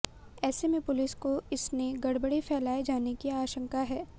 ऐसे में पुलिस को इसने गड़बड़ी फैलाए जाने की आशंका है